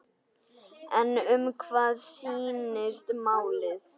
En um hvað snýst málið?